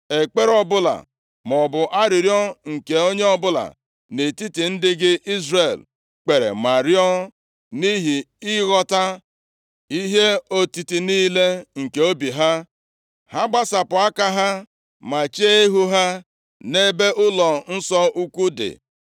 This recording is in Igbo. ekpere ọbụla maọbụ arịrịọ nke onye ọbụla nʼetiti ndị gị Izrel kpere ma rịọọ, nʼihi ịghọta ihe otiti niile nke obi ha, ha gbasapụ aka ha, ma chee ihu ha nʼebe ụlọnsọ ukwu dị,